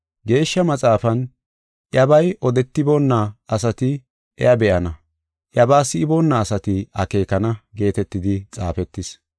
Geeshsha Maxaafan, “Iyabay odetiboonna asati iya be7ana; iyabaa si7iboona asati akeekana” geetetidi xaafetis.